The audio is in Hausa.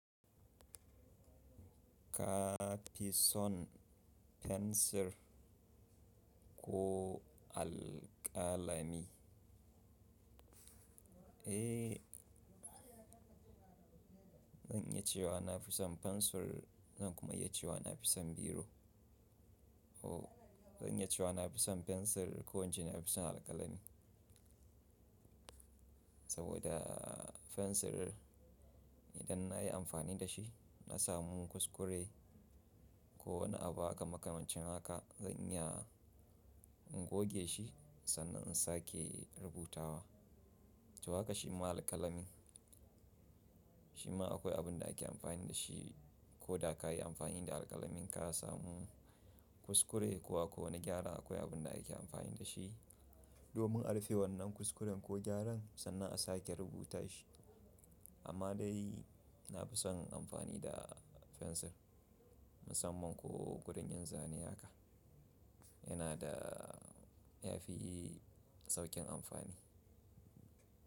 Ka fi son fensir ko alƙalami? Eh, zan iya cewa na fi son fensir, zan kuma iya cewa na fi son biro. Ko zan iya cewa na fi son fensir ko ince na fi son alƙalami. Saboda fensir idan na yi amfani da shi, na samu kuskure ko wani abu haka makamacin haka, zan iya in goge shi sannan in sake rubutawa. To haka shi ma alƙalami, shi ma akwai abin da ake amfani da shi. Ko da ka yi amfani da alƙalamin ka samu kuskure ko akwai wani gyara, akwai abin da ake amfani da shi domin a rufe wannan kuskuren ko gyaran sannan a sake rubuta shi. Amma dai na fi son amfani da fensir musamman ko wurin yin zane haka yana da ya fi sauƙin amfani.